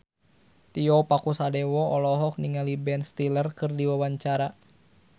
Tio Pakusadewo olohok ningali Ben Stiller keur diwawancara